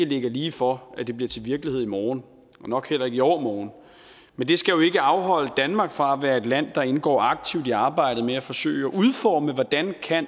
ligger lige for at det bliver til virkelighed i morgen og nok heller ikke i overmorgen men det skal jo ikke afholde danmark fra at være et land der indgår aktivt i arbejdet med at forsøge at udforme hvordan